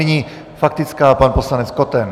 Nyní faktická, pan poslanec Koten.